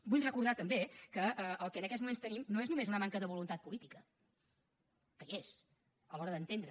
vull recordar també que el que en aquests moments tenim no és només una manca de voluntat política que hi és a l’hora d’entendre